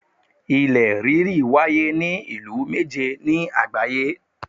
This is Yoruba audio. Ilẹ̀ ríri wáyé ní ìlú méje ni àgbáyé